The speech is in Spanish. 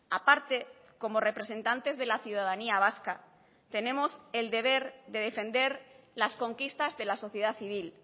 a parte como representantes de la ciudadanía vasca tenemos el deber de defender las conquistas de la sociedad civil